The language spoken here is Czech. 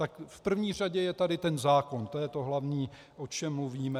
Tak v první řadě je tady ten zákon, to je to hlavní, o čem mluvíme.